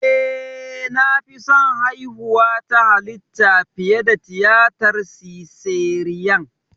Eh, na fi son haihuwa ta halitta fiye da tiyatar siseriyan.